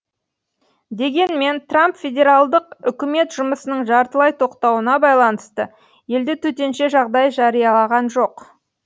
дегенмен трамп федералдық үкімет жұмысының жартылай тоқтауына байланысты елде төтенше жағдай жариялаған жоқ